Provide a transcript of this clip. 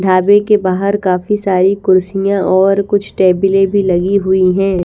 ढाबे के बाहर काफी सारी कुर्सियाँ और कुछ स्टॅबिले भीं लगी हुई हैं।